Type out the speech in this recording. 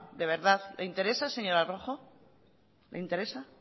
de verdad le interesa señora rojo le interesa